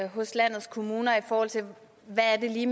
hos landets kommuner i forhold til hvad det lige